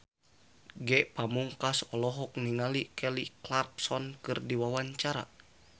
Ge Pamungkas olohok ningali Kelly Clarkson keur diwawancara